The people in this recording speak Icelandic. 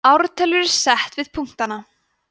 ártöl eru sett við punktana